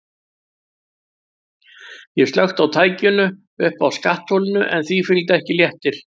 Ég slökkti á tækinu uppi á skattholinu en því fylgdi ekki léttir.